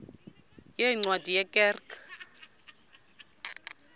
yeencwadi ye kerk